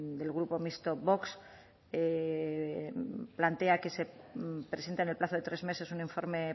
del grupo mixto vox plantea que se presente en el plazo de tres meses un informe